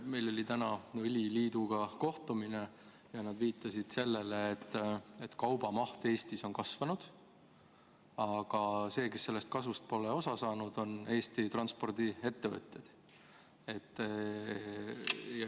Meil oli täna õliliiduga kohtumine ja nad viitasid sellele, et kaubaveo maht Eestis on kasvanud, aga sellega kaasnenud kasust pole osa saanud Eesti transpordiettevõtted.